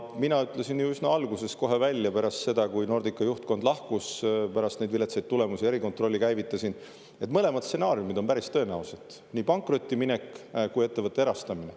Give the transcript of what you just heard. Mina ütlesin ju üsna alguses kohe välja, pärast seda, kui Nordica juhtkond lahkus ja ma pärast neid viletsaid tulemusi erikontrolli käivitasin, et mõlemad stsenaariumid on päris tõenäolised: nii pankrotti minek kui ka ettevõtte erastamine.